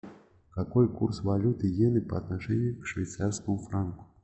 какой курс валюты иены по отношению к швейцарскому франку